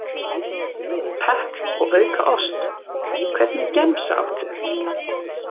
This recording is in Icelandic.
Pepp og auka ost Hvernig gemsa áttu?